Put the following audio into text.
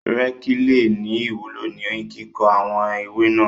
Rékì le ní ìwúló ní kíkó àwọn ewé náà.